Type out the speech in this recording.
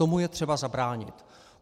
Tomu je třeba zabránit.